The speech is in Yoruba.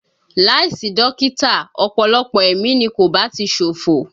Láìsí dókítà ọ̀pọ̀lọpọ̀ ẹ̀mí ni kò bá ti ṣòfò